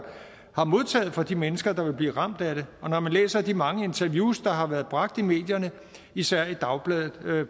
har modtaget fra de mennesker der vil blive ramt af det og når man læser de mange interviews der har været bragt i medierne især i dagbladet